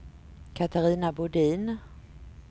Catarina Bodin